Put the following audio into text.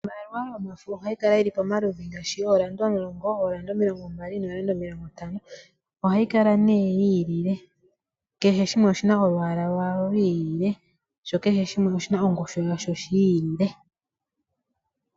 Iimaliwa yomafo ohayi kala yi li pamaludhi ngaashi yooranda omulongo, ooranda omilongombali nooranda omilongontano. Ohayi kala nduno yi ililile, kehe shimwe oshi na olwaala lwasho lwi ilile, sho kehe shimwe oshi na ongushu yasho yi ilile.